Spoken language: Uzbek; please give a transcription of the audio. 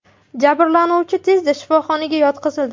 Jabrlanuvchi tezda shifoxonaga yotqizildi.